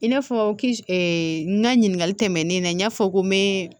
I n'a fɔ n ka ɲininkali tɛmɛnen na n y'a fɔ ko n be